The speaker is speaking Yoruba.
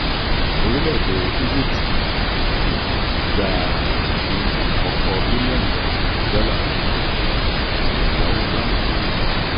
orílẹ̀-èdè egypt orílẹ̀-èdè egypt gba ipin akoko bilion kan dola eyawo banki agbayé